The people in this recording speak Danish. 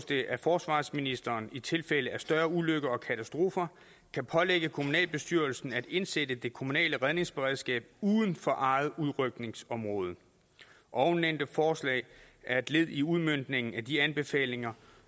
det at forsvarsministeren i tilfælde af større ulykker og katastrofer kan pålægge kommunalbestyrelsen at indsætte det kommunale redningsberedskab uden for eget udrykningsområde ovennævnte forslag er et led i udmøntningen af de anbefalinger